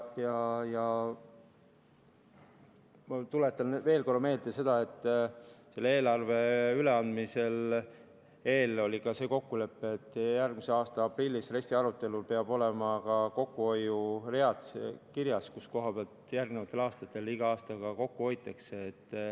Ma tuletan veel kord meelde, et eelarve üleandmise eel oli kokkulepe, et järgmise aasta aprillis RES‑i arutelul peavad olema ka kokkuhoiuread kirjas, kus kohas igal järgneval aastal kokku hoitakse.